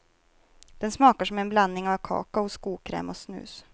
Den smakar som en blandning av kakao, skokräm och snus.